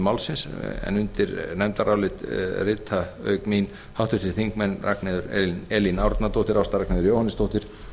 afgreiðslu málsins undir nefndarálit rit auk mín háttvirtir þingmenn ragnheiður e árnadóttir ásta r jóhannesdóttir